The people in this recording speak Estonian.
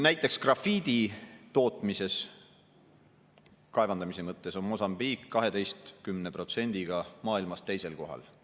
Näiteks, grafiidi tootmises – kaevandamise mõttes – on Mosambiik 12%‑ga maailmas teisel kohal.